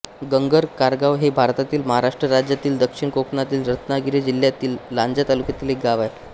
ginger Kargaon हे भारतातील महाराष्ट्र राज्यातील दक्षिण कोकणातील रत्नागिरी जिल्ह्यातील लांजा तालुक्यातील एक गाव आहे